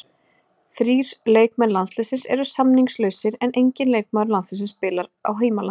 Þrír leikmenn landsliðsins eru samningslausir en enginn leikmaður landsliðsins spilar í heimalandinu.